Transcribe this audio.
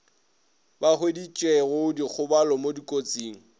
ba hweditšego dikgobalo mo dikotsing